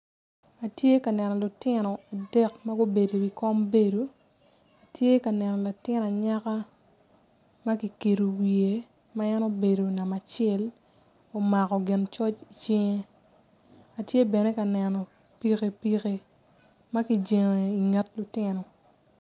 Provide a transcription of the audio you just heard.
Atye ka neno lutino adek ma gubedo iwi kom bedo atye ka neno latin anyaka ma kikedo wiye ma en obedo namba acel omako gin coc icinge atye bene ka neno pikipiki ma kijengo inget lutino.